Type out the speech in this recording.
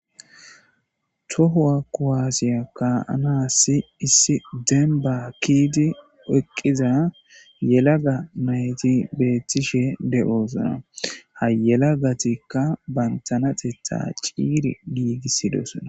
Tohuwa kuwasiya ka'anassi issi denibba ke'iddi eqqiza yelagga nayitti bettishshe de'ossona .haa yeelaga nayittikka banita yelagateththa cigidi gothtetes .